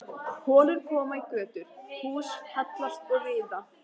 Holur koma í götur, hús hallast og riða.